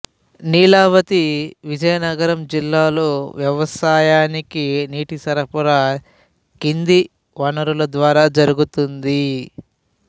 నీలావతి విజయనగరం జిల్లాలో వ్యవసాయానికి నీటి సరఫరా కింది వనరుల ద్వారా జరుగుతోంది